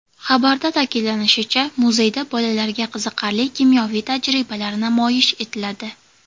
Xabarda ta’kidlanishicha, muzeyda bolalarga qiziqarli kimyoviy tajribalar namoyish etiladi.